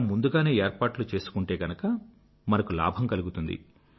మనం ముందుగానే ఏర్పాట్లు చేసుకుంటే గనుక మనకు లాభం కలుగుతుంది